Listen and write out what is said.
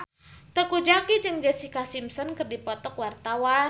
Teuku Zacky jeung Jessica Simpson keur dipoto ku wartawan